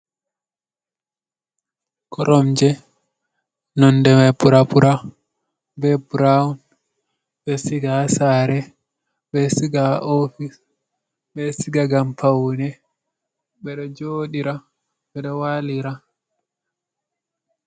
Koromje nonɗe mai pura-pura be buraon. Be siga ha sare, be siga ha ofis, be siga ngan paune. Beɗo joɗira. Beɗo walira.